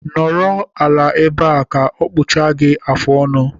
Nọrọ ala ebea, ka ọ kpụchapụ gị afụ ọnụ